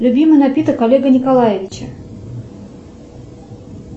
любимый напиток олега николаевича